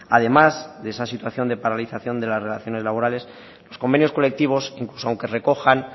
además de esa situación de paralización de las relaciones laborales los convenios colectivos incluso aunque recojan